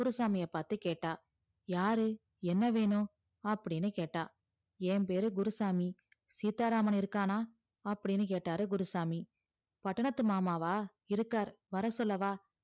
குருசாமியே பாத்து கேட்டா யாரு என்ன வேணும் அப்டின்னு கேட்டா என் பேரு குருசாமி சீத்தாராமன் இருக்கான அப்டின்னு கேட்டாரு குருசாமி பட்டணத்து மாமாவா இருக்காரு வர சொல்லவா